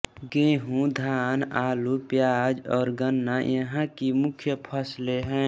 गेहूं धान आलू प्याज और गन्ना यहाँ की मुख्य फसलें हैं